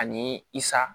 Ani i sa